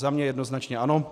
Za mě jednoznačně ano.